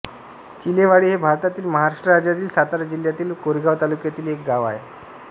चिलेवाडी हे भारतातील महाराष्ट्र राज्यातील सातारा जिल्ह्यातील कोरेगाव तालुक्यातील एक गाव आहे